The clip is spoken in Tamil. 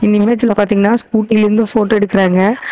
இந்த இமேஜ்ல பாத்தீங்கன்னா ஸ்கூட்டிலருந்து ஃபோட்டோ எடுக்குறாங்க.